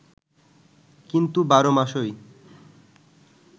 কিন্তু ১২ মাসই